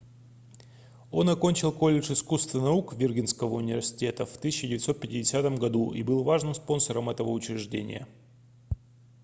он окончил колледж искусств и наук виргинского университета в 1950 году и был важным спонсором этого учреждения